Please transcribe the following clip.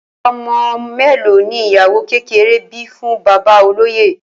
O̩mo̩ mélòó ni ìyàwó kékeré bí fún bàbá olóyè?